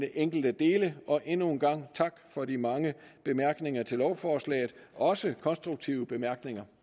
enkelte dele og endnu en gang tak for de mange bemærkninger til lovforslaget også konstruktive bemærkninger